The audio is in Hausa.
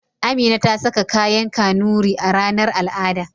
Amina ta saka kayan Kanuri a ranar al'ada.